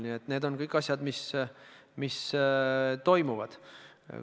Kõik need asjad toimuvad.